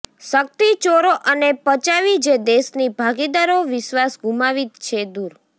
શક્તિ ચોરો અને પચાવી જે દેશની ભાગીદારો વિશ્વાસ ગુમાવી છે દૂર